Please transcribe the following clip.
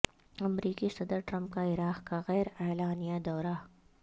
امریکی صدر ٹرمپ کا عراق کا غیر اعلانیہ دورہ